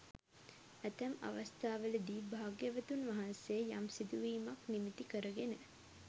ඇතැම් අවස්ථාවලදී භාග්‍යවතුන් වහන්සේ යම් සිදුවීමක් නිමිති කරගෙන